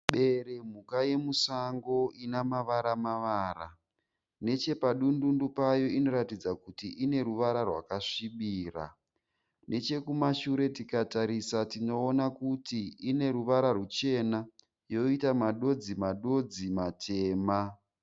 Bere mhuka yemusango ine mavara mavara. Nechepadundundu payo inotaridza kuti ine ruvara rwakasvibira. Nechekumashure tikatarisa tinoona kuti ine ruvara ruchena yoita madodzi madodzi matema.